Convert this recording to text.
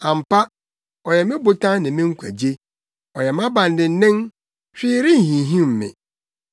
Ampa, ɔyɛ me botan ne me nkwagye; ɔyɛ mʼabandennen, hwee renhinhim me.